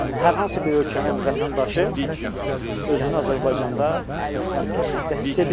Və hər hansı bir ölkənin vətəndaşı özünü Azərbaycanda təhlükəsizlikdə hiss edir.